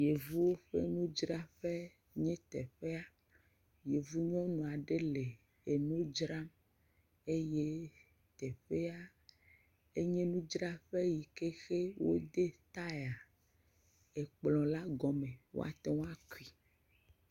Yevuwo ƒe nudzraƒe enye teƒe ya, yevu nyɔnu aɖe le enu dzram eye teƒea enye nudzraƒe yi ke xe wode taya ekplɔ la gɔme, woate akui.